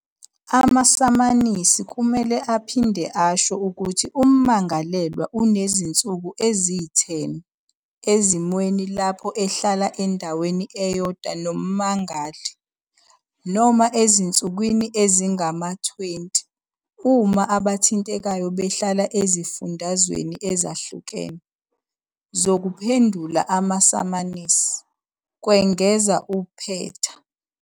Amasamanisi kumele aphinde asho ukuthi ummangalelwa unezinsuku eziyi-10 - ezimweni lapho ehlala endaweni eyodwa nommangali, noma ezinsukwini ezingama-20 uma abathintekayo behlala ezifundazweni ezahlukene, zokuphendula amasamanisi," kwengeza uPeta.